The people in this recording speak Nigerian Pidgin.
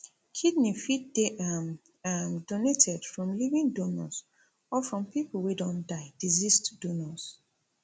kidney fit dey um um donated from living donors or from pipo wey don die deceased donors